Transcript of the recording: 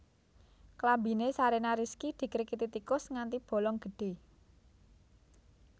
Klambine Shareena Rizky dikrikiti tikus nganthi bolong gedhe